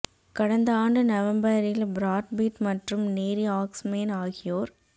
கடந்த ஆண்டு நவம்பரில் பிராட் பிட் மற்றும் நேரி ஆக்ஸ்மேன் ஆகியோர்